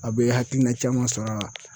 A be hakilina caman sɔrɔ a la.